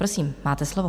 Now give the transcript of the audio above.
Prosím, máte slovo.